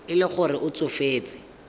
e le gore o tsofetse